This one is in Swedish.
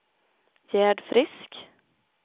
Gerd Frisk